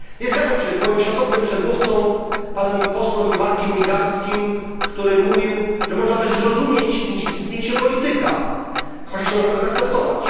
Nie zgadzam się z moim szacownym przedmówcą, panem posłem Markiem Migalskim, który mówił, że można by zrozumieć zniknięcie polityka, chociaż nie można tego zaakceptować.